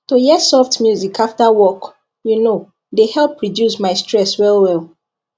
to hear soft music after work you know dey help reduce my stress well well